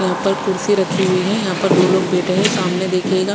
यहा पर कुड्सी रखी हुई है यहा पर दो लोग बेठे हुए है सामने की तरफ देखिएगा--